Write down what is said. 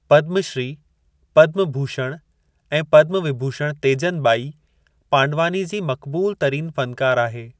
पदमु श्री, पदमु भूषण, ऐं पदमु विभूषण तेजन ॿाई, पांडवानी जी मक़बूलु तरीन फ़नकारु आहे।